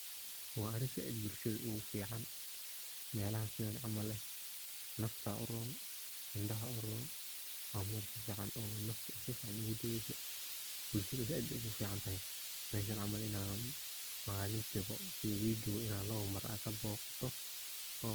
Waa arin said bulshada ogu fican, melahas mel camal eh nafta uron, indaha uron wa mel nafta sifican ogu dageyso bulshada said ogun fican tahay meshan camal malintiwa iyo wigibo labo mar ad kaboqato.